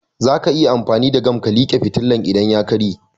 Zaka iya amfani da gam ka like fitilan idan ya karye